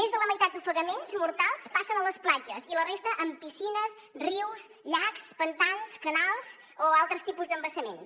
més de la meitat d’ofegaments mortals passen a les platges i la resta en piscines rius llacs pantans canals o altres tipus d’embassaments